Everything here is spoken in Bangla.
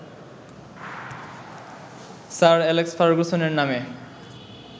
স্যার অ্যালেক্স ফার্গুসনের নামে